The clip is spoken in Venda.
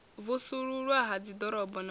vusuluswa ha dziḓorobo na u